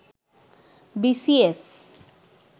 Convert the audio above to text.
B C S